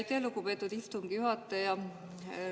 Aitäh, lugupeetud istungi juhataja!